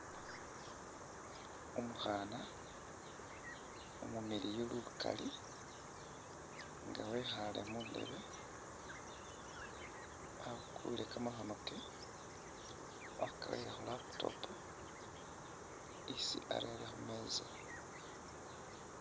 Umukhana umumiliyu lukaali nga wekhaale muntebe abukule kamakhono kewe wakarere khu laptop isi arere khumeza.